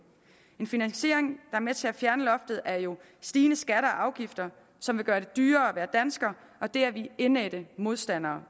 en finansiering er med til at fjerne loftet er jo stigende skatter og afgifter som vil gøre det dyrere at være dansker og det er vi indædt modstandere